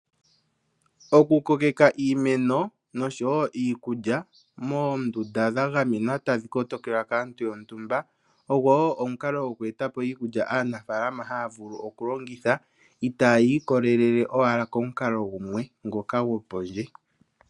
Oku kokeka iimeno nosho wo iikudja moo ndunda dha gamenwa tadhi koto kelwa kaantu yontumba, ogo wo omukalo gumwe goku eta po iikudja aanafaalama haya vulu oku longitha, itayi ikole lele owala komu kalo gumwe ngoka gwo pondje.